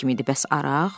Bəs araq?